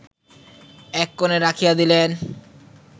এককোণে রাখিয়া দিলেন